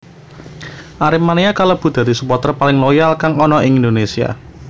Aremania kalebu dadi suporter paling loyal kang ana ing Indonesia